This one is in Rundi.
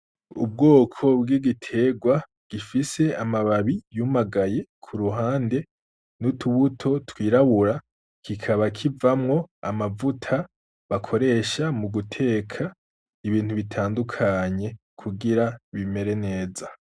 Ubwoko bw'igiterwa ,gifise amababi yumagaye k'uruhande, n'utubuto twirabura, kikaba kivamwo amavuta ,bakoresha muguteka ibintu bitandukanye ,kugira bimere neza.